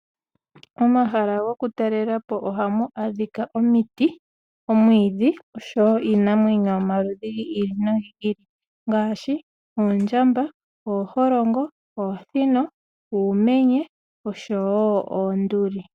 Momahala gokutalelwapo oha mu adhika omiti, omwiidhi osho woo iinamwenyo yomaludhi gi ili nogi ili ngaashi oondjamba, ooholongo, oosino, uumenye osho woo oonduli.